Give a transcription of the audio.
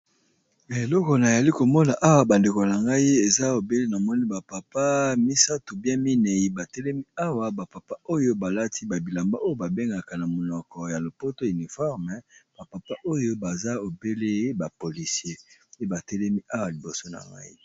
Eloko na yali komona awa ba ndeko na ngai eza obele na moni ba papa misato bien minei ba telemi awa, ba papa oyo balati ba bilamba oyo ba bengaka na monoko ya lopoto uniforme ba papa oyo baza obele ba policier pe ba telemi awa liboso na ngai.